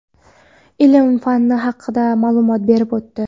ilm – fani haqida ma’lumot berib o‘tdi.